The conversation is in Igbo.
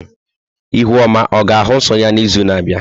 Ihuoma ọ ga-ahụ nsọ ya n'izu na-abịa?